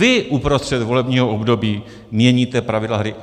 Vy uprostřed volebního období měníte pravidla hry.